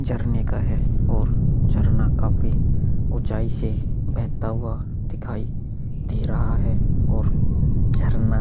झरने का है और झरना काफ़ी उचाई से बहता हुआ दिखाई दे रहा है और झरना --